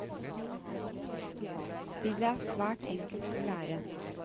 Spillet er svært enkelt å lære.